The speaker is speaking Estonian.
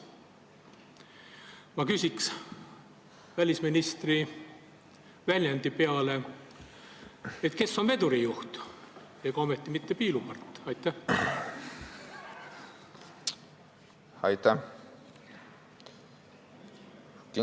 Ma küsiks välisministri väljendi peale, et kes on vedurijuht – ega ometi mitte piilupart?